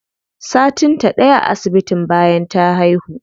Satin ta ɗaya a asibitin bayan ta haihu.